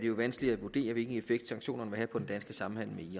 er vanskeligt at vurdere hvilken effekt sanktionerne vil have på den danske samhandel